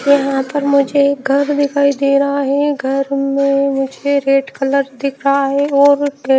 यहां पर मुझे एक घर दिखाई दे रहा है घर में मुझे रेड कलर दिख रहा है और--